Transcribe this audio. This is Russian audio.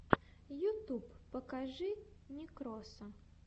ютуб покажи некроса